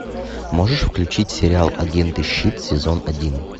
можешь включить сериал агенты щит сезон один